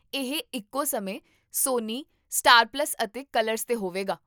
ਇਹ ਇੱਕੋ ਸਮੇਂ ਸੋਨੀ, ਸਟਾਰ ਪਲੱਸ ਅਤੇ ਕਲਰਸ 'ਤੇ ਹੋਵੇਗਾ